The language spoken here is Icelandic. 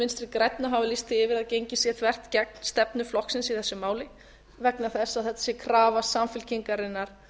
vinstri grænna hafa lýst því yfir að gengið sé þvert gegn stefnu flokksins í þessu máli vegna þess að það sé krafa samfylkingarinnar